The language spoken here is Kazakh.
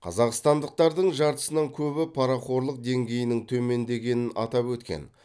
қазақстандықтардың жартысынан көбі парақорлық деңгейінің төмендегенін атап өткен